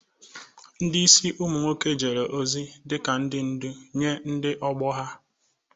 Ndị isi ụmụ nwoke jere ozi dị ka ndị ndu nye ndị ọgbọ ha.